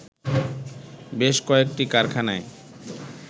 বেশ কয়েকটি কারখানায়